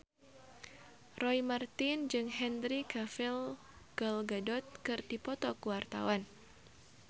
Roy Marten jeung Henry Cavill Gal Gadot keur dipoto ku wartawan